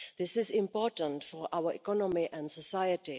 This is important for our economy and society.